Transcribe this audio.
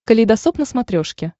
калейдосоп на смотрешке